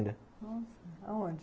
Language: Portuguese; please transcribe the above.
Nossa, aonde?